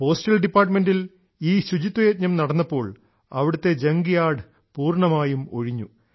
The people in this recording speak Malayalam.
പോസ്റ്റൽ ഡിപ്പാർട്ടുമെൻറിൽ ഈ ശുചിത്വയജ്ഞം നടന്നപ്പോൾ അവിടത്തെ ജങ്ക്യാഡ് പൂർണ്ണമായും ഒഴിഞ്ഞു